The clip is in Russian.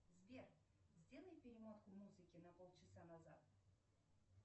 сбер сделай перемотку музыки на пол часа назад